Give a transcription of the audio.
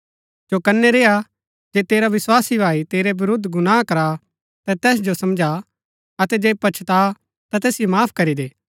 चौकनै रेआ जे तेरा विस्वासी भाई तेरै विरूद्ध गुनाह करा ता तैस जो समझा अतै जे पच्छता ता तैसिओ माफ करी दे